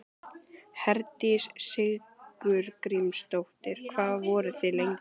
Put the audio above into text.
Herdís Sigurgrímsdóttir: Hvað voru þið lengi?